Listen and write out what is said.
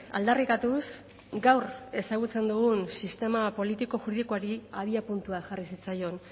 aldarrikatuz gaur ezagutzen dugun sistema politiko juridikoari abiapuntua jarri zitzaion